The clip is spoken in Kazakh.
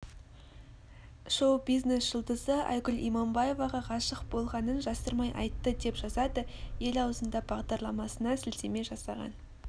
шоу-бизнес жұлдызы айгүл иманбаеваға ғашық болғанын жасырмай айтты деп жазады ел аузында бағдарламасына сілтеме жасаған